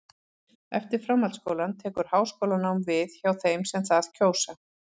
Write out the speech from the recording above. Eftir framhaldsskólann tekur háskólanám við hjá þeim sem það kjósa.